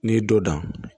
N'i ye dɔ dan